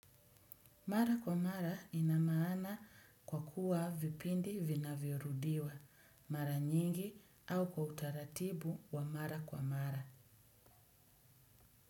Mara kwa mara inamaana kwa kuwa vipindi vinavyorudiwa, mara nyingi au kwa utaratibu wa mara kwa mara.